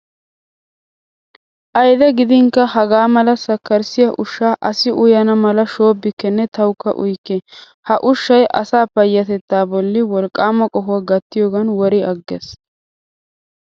Ayide gidinkka hagaa mala sakkarissiyaa ushshaa asi uyana mala shobbikkenne tawukka uyikke. Ha ushshayi asaa payyatettaa bolli wolqqaama qohuwaa gattiyoogan wori agges.